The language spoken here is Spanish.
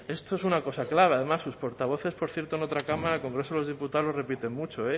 esto es una cosa clara además sus portavoces por cierto en otra cámara el congreso de los diputados lo repiten mucho